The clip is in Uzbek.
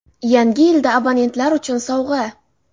Yangi yilda abonentlar uchun sovg‘a!.